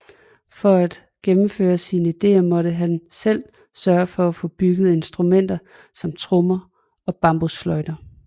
For at gennemføre sine ideer måtte han selv sørge for at få bygget instrumenter som trommer og bambusfløjter